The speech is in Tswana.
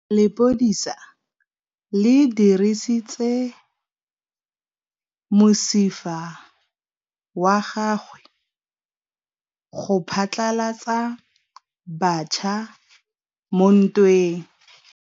Lepodisa le dirisitse mosifa wa gagwe go phatlalatsa batšha mo ntweng.